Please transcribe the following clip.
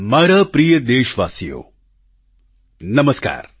મારા પ્રિય દેશવાસીઓ નમસ્કાર